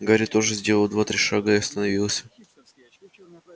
гарри тоже сделал два-три шага и остановился